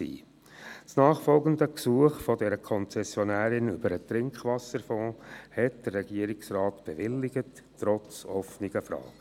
Das nachfolgende Gesuch dieser Konzessionärin über den Trinkwasserfonds bewilligte der Regierungsrat trotz offener Fragen.